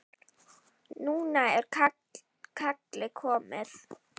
Núna er kallið komið.